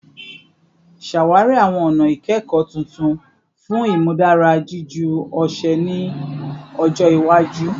Ṣawari awọn ọna ikẹkọ tuntun fun imudara jiju ọṣẹ ni ọjọ iwaju